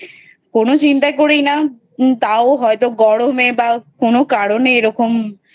কোনো চিন্তা করি না তাও হয় তো গরমে বা কোনো কারণে